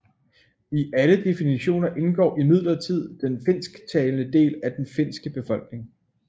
I alle definitioner indgår imidlertid den finsktalende del af den finske befolkning